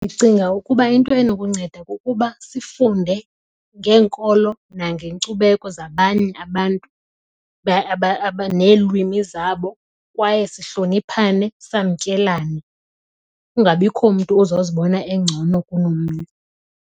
Ndicinga ukuba into enokunceda kukuba sifunde ngeenkolo nangeenkcubeko zabanye abantu neelwimi zabo kwaye sihloniphane samkelane. Kungabikho mntu ozozibona engcono kunomnye.